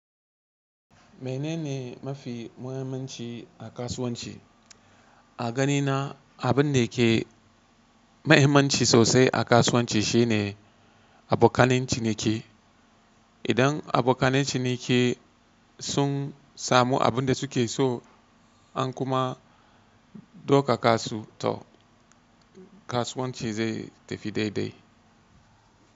Menene mafi muhimmanci a kasuwanci? A ganina abin da ke mahimmanci sosai a kasuwanci shine abokanen ciniki. Idan abokanen ciniki sun samu abin da suke so an kuma ɗoka kasu to kasuwanci zai tafi daidai.